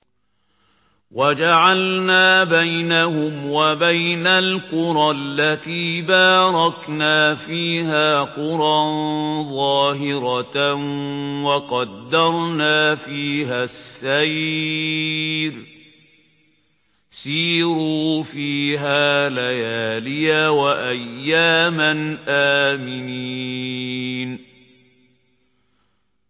وَجَعَلْنَا بَيْنَهُمْ وَبَيْنَ الْقُرَى الَّتِي بَارَكْنَا فِيهَا قُرًى ظَاهِرَةً وَقَدَّرْنَا فِيهَا السَّيْرَ ۖ سِيرُوا فِيهَا لَيَالِيَ وَأَيَّامًا آمِنِينَ